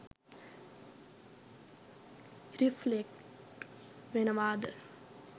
Reflect වෙනවද?